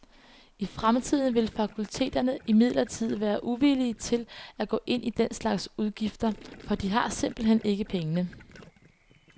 I fremtiden vil fakulteterne imidlertid være uvillige til at gå ind i den slags udgifter, for de har simpelthen ikke pengene.